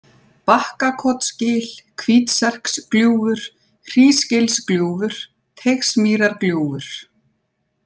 Bakkakotsgil, Hvítserksgljúfur, Hrísgilsgljúfur, Teigsmýrargljúfur